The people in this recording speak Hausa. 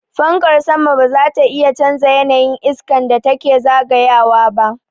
Fankar sama ba zata iya canza yanayin iskan da take zagayawa ba.